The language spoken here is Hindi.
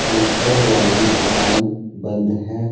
ऊपर वाली दुकान बंद है।